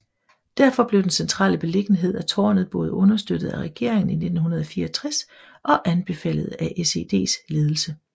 Derfor blev den centrale beliggenhed af tårnet både understøttet af regeringen i 1964 og anbefalet af SEDs ledelse